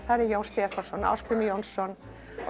Jón Stefánsson Ásgrímur Jónsson